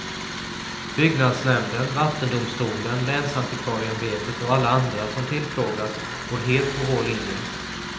Byggnadsnämnden, vattendomstolen, länsantikvarieämbetet och alla andra som tillfrågats går helt på vår linje.